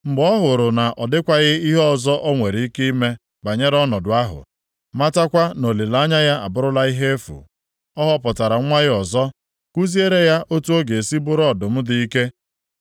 “ ‘Mgbe ọ hụrụ na ọ dịkwaghị ihe ọzọ o nwere ike ime banyere ọnọdụ ahụ, matakwa na olileanya ya abụrụla ihe efu, ọ họpụtara nwa ya ọzọ kuziere ya otu ọ ga-esi bụrụ ọdụm dị ike.